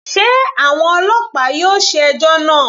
Sé àwọn ọlọ́pàá yóò ṣe ẹjọ́ náà.